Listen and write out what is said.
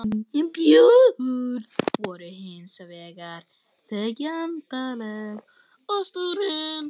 Börnin voru hins vegar þegjandaleg og stúrin.